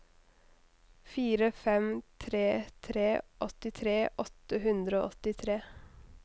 fire fem tre tre åttitre åtte hundre og åttitre